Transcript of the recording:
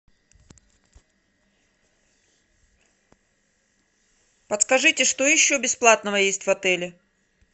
подскажите что еще бесплатного есть в отеле